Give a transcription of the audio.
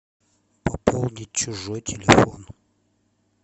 пополнить чужой телефон